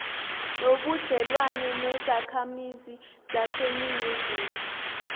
nobudlelwane nezakhamizi zaseningizimu